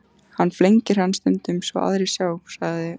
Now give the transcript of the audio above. Hann flengir hann stundum svo aðrir sjá, sagði